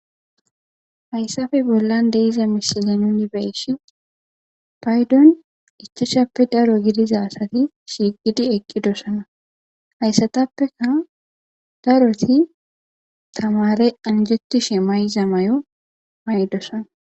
Haysappe nollan de'iya misile nuni beyishin paydon ochchashape daro gidiza adati shiiqidi eqidosona haysatappeka daroti tamare anjetishe mayiza mayo mayidosona